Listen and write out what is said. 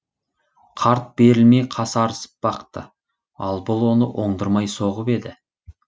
қарт берілмей касарысып бақты ал бұл оны оңдырмай соғып еді